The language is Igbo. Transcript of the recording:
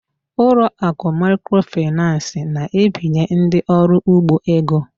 Ụlọ akụ microfinance na-ebinye ndị ọrụ ugbo ego.